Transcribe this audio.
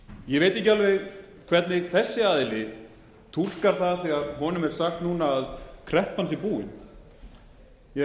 ég veit ekki alveg hvernig þessi aðili túlkar það þegar honum er sagt núna að kreppan sé búin